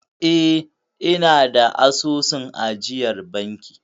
Eh, ina da asusun ajiyar banki.